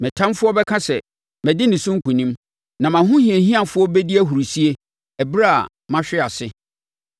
Me ɔtamfoɔ bɛka sɛ, “Madi ne so nkonim.” Na mʼahohiahiafoɔ bɛdi ahurisie ɛberɛ a mahwe ase.